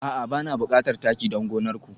A'a bana bukatar taki don gonar ku